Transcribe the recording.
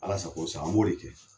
Alasa sako i sako an b'o de kɛ